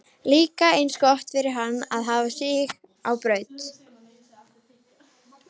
Líka eins gott fyrir hana að hafa sig á braut!